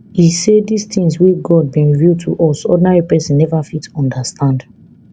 e say dis tins wey god bin reveal to us ordinary pesin neva fit understand